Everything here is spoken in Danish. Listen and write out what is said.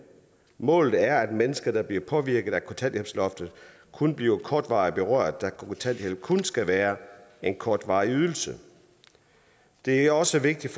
målet er at mennesker der bliver påvirket af kontanthjælpsloftet kun bliver kortvarigt berørt da kontanthjælp kun skal være en kortvarig ydelse det er også vigtigt